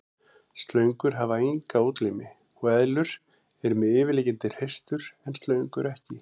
Slöngur hafa enga útlimi og eðlur eru með yfirliggjandi hreistur en slöngur ekki.